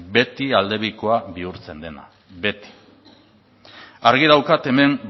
beti aldebikoa bihurtzen dela beti argi daukat hemen